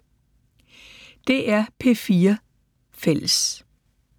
DR P4 Fælles